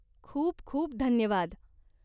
खूप खूप धन्यवाद.